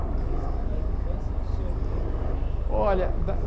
Mas da infância o senhor lembra o quê? Olha da